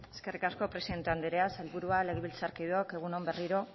eskerrik asko presidente andrea sailburuak legebiltzarkideok egun on berriro